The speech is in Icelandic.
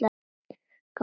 Gangi ykkur vel.